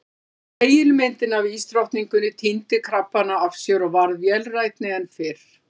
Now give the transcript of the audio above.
Spegilmyndin af ísdrottninguni týndi krabbana af sér og varð vélrænni en fyrr.